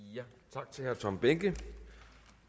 tak til herre tom behnke